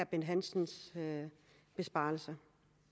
bent hansens besparelser